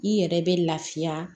I yɛrɛ bɛ lafiya